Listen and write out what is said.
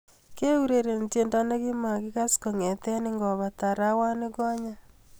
keureren tiendo nekimagas kongeten ingobata arawanigonyen